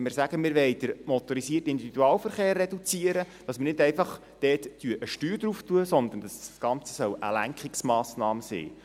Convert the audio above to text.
: Wenn wir sagen, wir wollen den MiV reduzieren, erheben wir nicht einfach dort eine Steuer, sondern das Ganze soll eine Lenkungsmassnahme sein.